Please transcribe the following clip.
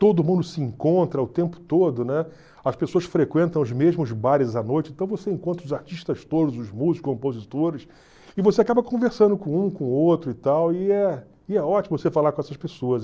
todo mundo se encontra o tempo todo, né, as pessoas frequentam os mesmos bares à noite, então você encontra os artistas todos, os músicos, os compositores, e você acaba conversando com um, com o outro e tal, e é e é ótimo você falar com essas pessoas.